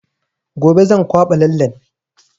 Gobe zan kwaɓa lallen